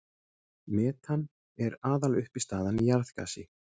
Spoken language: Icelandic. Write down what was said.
Metan er aðaluppistaðan í jarðgasi.